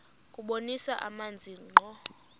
kubonisa amazwi ngqo